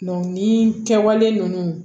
ni kɛwale ninnu